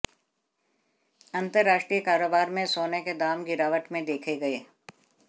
अंतरराष्ट्रीय कारोबार में सोने के दाम गिरावट में देखे गए